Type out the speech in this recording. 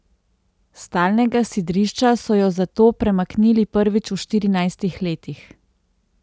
S stalnega sidrišča so jo zato premaknili prvič v štirinajstih letih.